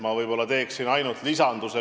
Ma võib-olla teeksin ainult lisanduse.